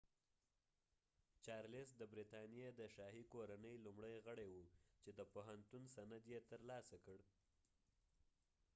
چارلس د برطانیی د شاهی کورنۍ لومړی غړی وه چی د پوهنتون سند یی تر لاسه کړ